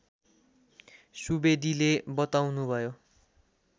सुवेदीले बताउनुभयो